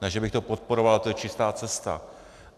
Ne že bych to podporoval, to je čistá cesta.